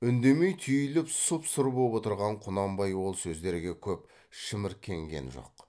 үндемей түйіліп сұп сұр боп отырған құнанбай ол сөздерге көп шіміркенген жоқ